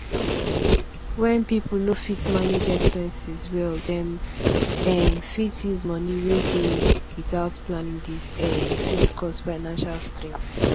when pipo no fit manage expenses well dem um fit use money wey dey without planning this um fit cause financial strain